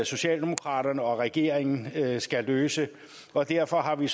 socialdemokraterne og regeringen skal løse og derfor har vi